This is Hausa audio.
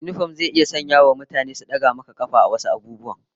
Yinifom zai iya sanyawa mutane su daga maka kafa akan wasu abubuwan